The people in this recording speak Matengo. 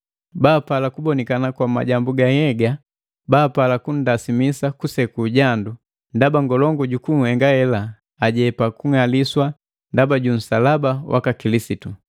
Bala bapala kubonikana kwa majambu ga nhyega baapala kunndasimisa kuseku jandu, ndaba ngolungu juku henga hela ajepa kung'aliswa ndaba ju nsalaba waka Kilisitu.